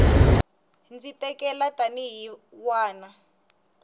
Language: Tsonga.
ndzi tikela tanihi n wana